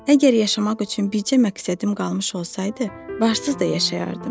Əgər yaşamaq üçün bircə məqsədim qalmış olsaydı, varsız da yaşayardım.